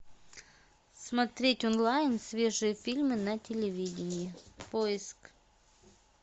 смотреть онлайн свежие фильмы на телевидении поиск